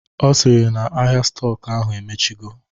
Ọ sịrị na ahịa stọk ahụ emechigo